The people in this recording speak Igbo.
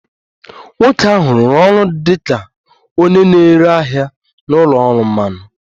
Nwoke ahụ rụrụ ọrụ dị ka onye na-ere ahịa na ụlọ ọrụ mmanụ